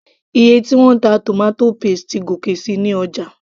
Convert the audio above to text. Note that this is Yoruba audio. iye tí wọ́n ń ta tomato paste ti gòkè síi ní ọjà